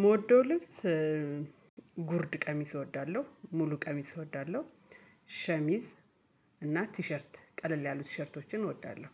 ምወደው ልብስ ጉርድ ቀሚስ እወዳለሁ ሙሉ ቀሚስ እወዳለሁ ሸሚዝ እና ቲሸርት ቀለል ያሉ ቲሸርቶችን እወዳለሁ።